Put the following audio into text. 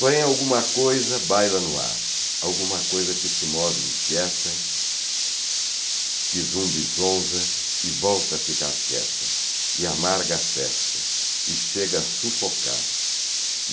Porém, alguma coisa baila no ar, alguma coisa que se move inquieta, que zumbizonza e volta a ficar quieta, e amarga a festa, e chega a sufocar.